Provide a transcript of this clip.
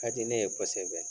Ka di ne ye kosɛbɛ